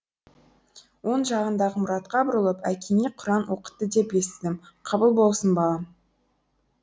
оң жағындағы мұратқа бұрылып әкеңе құран оқытты деп естідім қабыл болсын балам